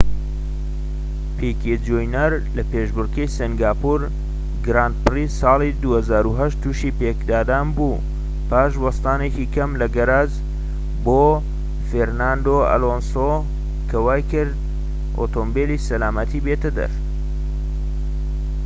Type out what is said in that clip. پیکێ جونیەر لە پێشبڕكێی سینگاپۆر گراند پری-ساڵی ٢٠٠٨ توشی پێکدادان بوو پاش وەستانێکی کەم لە گەراج بۆ فێرناندۆ ئەلۆنسۆ کە وایکرد ئۆتۆمبیلی سەلامەتی بێتە دەر